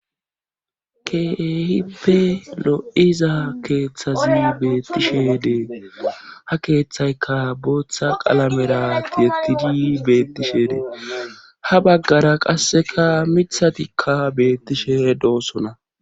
Keehippe lo7iza keeththazi beettishe dee ha keeththayka booththa qalamera tiettidi beettishe dee ha baggara qasseka mithatikka beettishe doossona.